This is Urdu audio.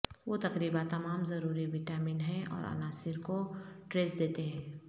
وہ تقریبا تمام ضروری وٹامن ہیں اور عناصر کو ٹریس دیتے ہیں